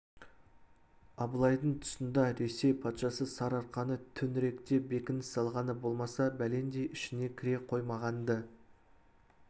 абылайдың тұсында ресей патшасы сарыарқаны төңіректеп бекініс салғаны болмаса бәлендей ішіне кіре қоймаған-ды